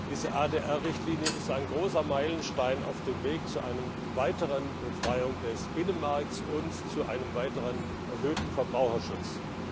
Die ADR Richtlinie ist ein großer Meilenstein auf dem Weg zu einer weiteren Befreiung des Binnenmarkts und zu einer weiteren Stärkung des Verbraucherschutzes.